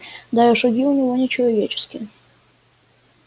да и шаги у него не человеческие